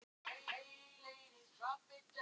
Þessu var þveröfugt farið norðan fjalla.